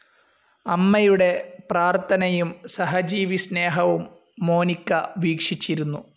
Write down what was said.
അമ്മയുടെ പ്രാർത്ഥനയും സഹജീവിസ്‌നേഹവും മോനിക്ക വീക്ഷിച്ചിരുന്നു.